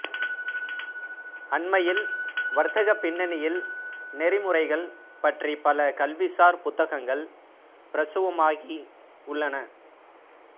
அண்மையில் வர்த்தகப் பின்னணியில் நெறிமுறைகள் பற்றி பல கல்விசார் புத்தகங்கள் பிரசுரமாகி உள்ளன